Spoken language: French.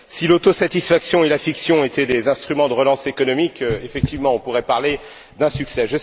Si l'autosatisfaction et la fiction étaient des instruments de relance économique, effectivement, on pourrait parler d'un succès.